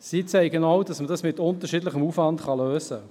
Sie zeigen auch, dass man es mit unterschiedlichem Aufwand lösen kann.